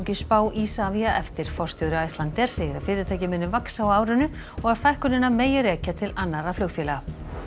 spá Isavia eftir forstjóri Icelandair segir að fyrirtækið muni vaxa á árinu og að fækkunina megi rekja til annarra flugfélaga